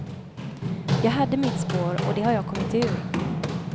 Jag hade mitt spår, och det har jag kommit ur.